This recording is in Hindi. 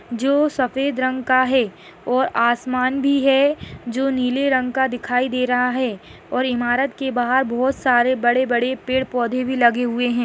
--जो सफ़ेद रंग का है और आसमान भी है जो नीले रंग का दिखाई दे रहा है और ईमारत के बाहर बहुत सारे बड़े बड़े पेड़-पौधे भी लगे हुए है।